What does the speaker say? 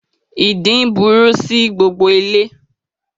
Ìdin burú sí gbogbo ilé